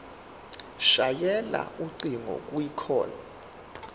shayela ucingo kwicall